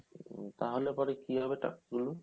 তা হলে পরে কি হবে টাকা গুলো